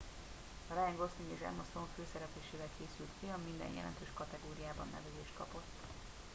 a ryan gosling és emma stone főszereplésével készült film minden jelentős kategóriában nevezést kapott